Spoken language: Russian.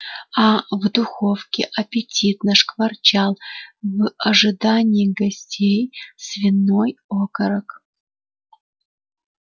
а в духовке аппетитно шкварчал в ожидании гостей свиной окорок